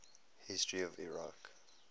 history of iraq